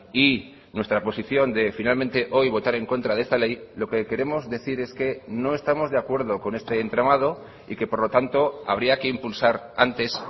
y nuestra posición de finalmente hoy votar en contra de esta ley lo que queremos decir es que no estamos de acuerdo con este entramado y que por lo tanto habría que impulsar antes